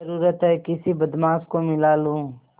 जरुरत हैं किसी बदमाश को मिला लूँ